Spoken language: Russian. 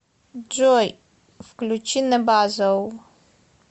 джой включи небезао